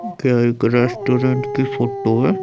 एक रेस्टोरेंट की फोटो है।